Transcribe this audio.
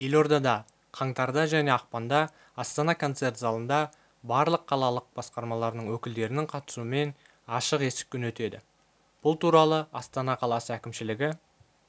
елордада қаңтарда және ақпанда астана концерт залында барлық қалалық басқармалардың өкілдерінің қатысуымен ашық есік күні өтеді бұл туралы астана қаласы әкімдігі